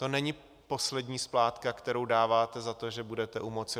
To není poslední splátka, kterou dáváte za to, že budete u moci.